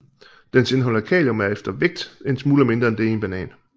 Dens indhold af kalium er efter vægt en smule mindre end det i en banan